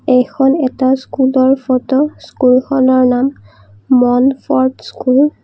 এইখন এটা স্কুলৰ ফটো স্কুলখনৰ নাম মণফৰ্ত স্কুল ।